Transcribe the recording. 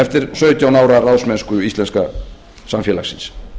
eftir sautján ára ráðsmennsku íslenska samfélagsins